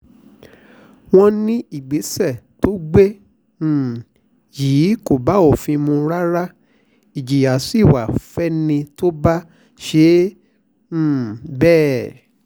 wọ́n ní ìgbésẹ̀ tó gbé um yìí kò bófin mu rárá ìjìyà sí wa fẹ́ni tó bá ṣe um bẹ́ẹ̀